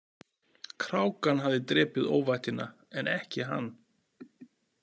Krákan hafði drepið óvættina en ekki hann.